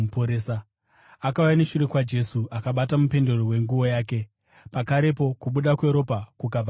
Akauya neshure kwaJesu akabata mupendero wenguo yake, pakarepo kubuda kweropa kukabva kwaguma.